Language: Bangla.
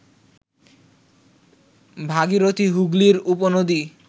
ভাগীরথী হুগলির উপনদী